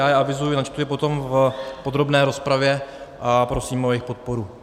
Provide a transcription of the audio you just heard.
Já je, avizuji, načtu je potom v podrobné rozpravě a prosím o jejich podporu.